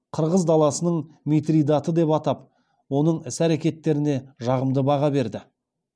қырғыз даласының митридаты деп атап оның іс әрекеттеріне жағымды баға берді